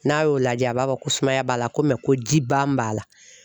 N'a y'o lajɛ a b'a fɔ ko sumaya b'a la ko mɛ ko jiban b'a la